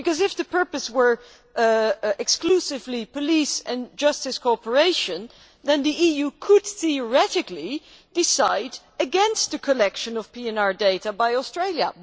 If the purpose were exclusively police and justice cooperation, the EU could theoretically decide against the collection of PNR data by Australia.